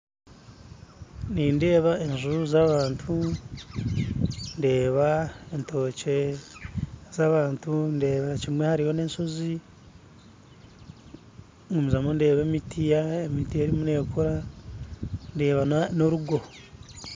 Nindeeba enju z'abantu ndeeba etookye z'abantu ndeeberakimwe hariyo n'eshoozi gumizamu ndeeba emiti erimu nekura ndeeba n'orugo